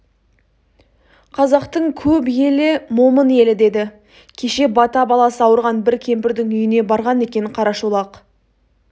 қазақтың көп елі момын елі деді кеш бата баласы ауырған бір кемпірдің үйіне барған екен қарашолақ